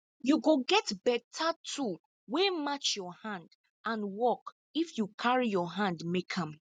you go get beta tool wey match your hand and work if you carry your hand make am